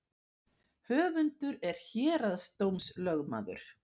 Höfundur er héraðsdómslögmaður